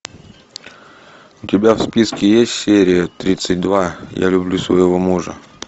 у тебя в списке есть серия тридцать два я люблю своего мужа